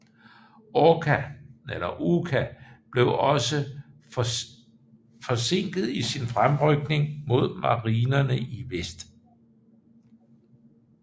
Oka blev også forsinket i sin fremrykning mod marinerne i vest